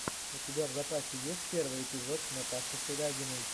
у тебя в запасе есть первый эпизод наташи шелягиной